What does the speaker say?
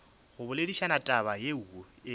go boledišana taba yeo e